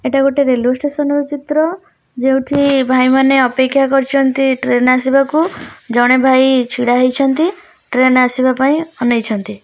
ଏଟା ଗୋଟେ railway station ର ଚିତ୍ର ଯେଉଁଠି ଭାଈ ମାନେ ଅପେକ୍ଷା କରିଚନ୍ତି ଟ୍ରେନ୍ ଆସିବାକୁ ଜଣେ ଭାଇ ଛିଡ଼ା ହେଇଛନ୍ତି ଟ୍ରେନ୍ ଆସିବା ପାଇଁ ଅନେଇଛନ୍ତି।